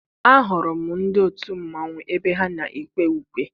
Ahụrụ m ndị otu mmanwụ ebe ha na-ekwe ukwe.